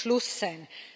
Damit muss Schluss sein!